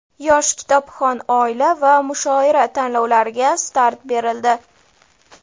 "Yosh kitobxon oila" va "Mushoira" tanlovlariga start berildi.